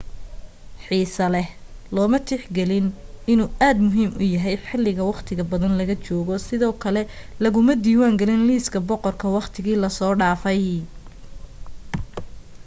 xiiso leh looma tix gelin inuu aad muhiim u yahay xiliga waqtiqa badan laga joogo sidoo kale laguma diwaan gelin liiska boqorka waqtiga la soo dhafay